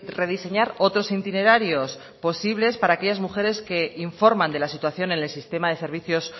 rediseñar otros itinerarios posibles para aquellas mujeres que informan de la situación en el sistema de servicios